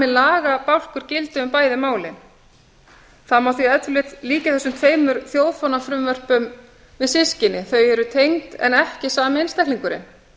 lagabálkur gildi um bæði málin það má því ef til vill líkja þessum tveimur þjóðfánafrumvörpum við systkini þau eru tengd en ekki sami einstaklingurinn